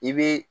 I bi